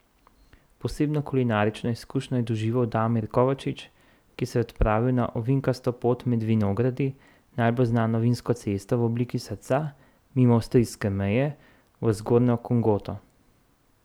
Posebno kulinarično izkušnjo je doživel Damir Kovačič, ki se je odpravil na ovinkasto pot med vinogradi, najbolj znano vinsko cesto v obliki srca, mimo avstrijske meje, v Zgornjo Kungoto.